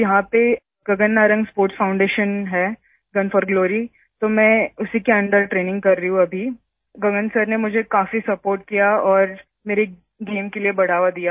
तो यहां पर गगन नारंग स्पोर्ट्स फाउंडेशन है गुन फोर ग्लोरी तो मैं उसी के अंडर ट्रेनिंग कर रही हूँ अभी गगन सर ने मुझे काफी सपोर्ट किया और मेरे गेम के लिए बढ़ावा दिया